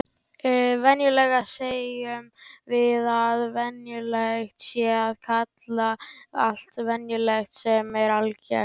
Venjulega segjum við að venjulegt sé að kalla allt venjulegt sem er algengt.